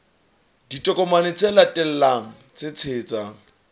ditokomane tse latelang tse tshehetsang